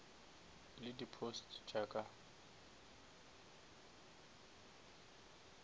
le di posts tša ka